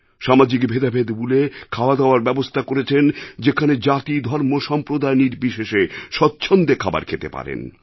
সামাজিক ভেদাভেদ ভুলে খাওয়াদাওয়ার ব্যবস্থা করেছেন যেখানে জাতিধর্মসম্প্রদায় নির্বিশেষে স্বচ্ছন্দে খাবার খেতে পারেন